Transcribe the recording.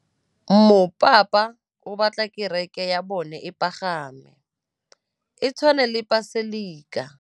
Mopapa o batla kereke ya bone e pagame, e tshwane le paselika.